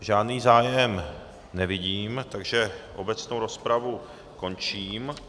Žádný zájem nevidím, takže obecnou rozpravu končím.